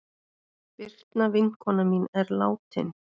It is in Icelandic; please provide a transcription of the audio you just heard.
Birna vinkona mín er látin.